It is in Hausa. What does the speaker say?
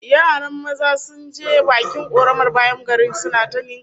Yaran maza sun je bakin koramar bayan garin suna ta ninkaya